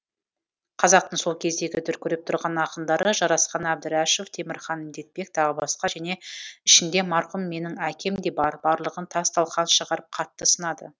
қазақтың сол кездегі дүркіреп тұрған ақындары жарасқан әбдірәшев темірхан медетбек тағы басқа және ішінде марқұм менің әкем де бар барлығын тас талқанын шығарып қатты сынады